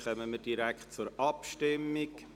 Damit kommen wir direkt zur Abstimmung.